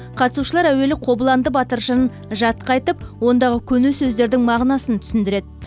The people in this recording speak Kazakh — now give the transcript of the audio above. қатысушылар әуелі қобыланды батыр жырын жатқа айтып ондағы көне сөздердің мағынасын түсіндіреді